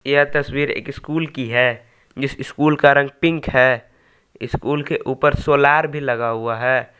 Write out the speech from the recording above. यह तस्वीर एक स्कूल की है जिस स्कूल का रंग पिंक है इस स्कूल के ऊपर सोलार भी लगा हुआ है।